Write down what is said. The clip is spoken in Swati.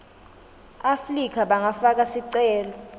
afrika bangafaka sicelo